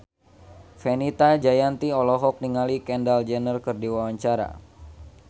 Fenita Jayanti olohok ningali Kendall Jenner keur diwawancara